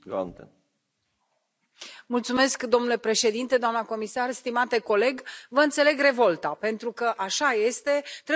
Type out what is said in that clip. Domnule președinte, doamnă comisar, stimate coleg, vă înțeleg revolta pentru că, așa este, trebuie să înaintăm, să facem ceva concret.